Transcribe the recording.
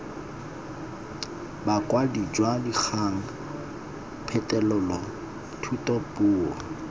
bokwadi jwa dikgang phetolelo thutapuo